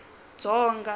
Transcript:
dzonga